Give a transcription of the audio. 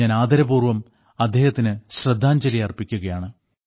ഞാൻ ആദരപൂർവ്വം അദ്ദേഹത്തിന് ശ്രദ്ധാഞ്ജലിയർപ്പിക്കുകയാണ്